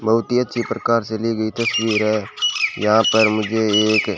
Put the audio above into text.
बहुत ही अच्छी प्रकार से ली गई तस्वीर है यहां पर मुझे एक--